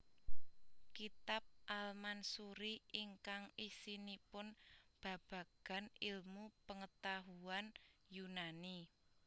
Kitab al Mansuri ingkang isinipun babagan ilmu pangatahuan Yunani